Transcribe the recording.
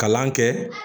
Kalan kɛ